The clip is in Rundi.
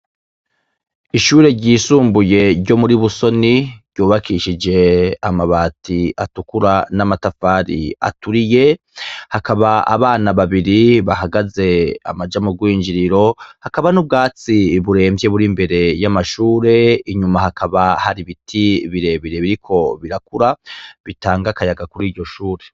Ishure ryisumbuye ryo muri Busoni, ry'ubakishije amabati atukura n'amatafari aturiye, hakaba abana babiri bahagaze amaja mu gwinjiriro, hakaba n'ubwatsi buremvye buri imbere y'amashure, inyuma hakaba hari ibiti birebire biriko birakura, bitanga akayaga kuri iryo shure.